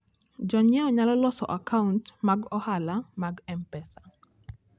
Jonyiewo nyalo loso akaunt mag ohala mag M-Pesa.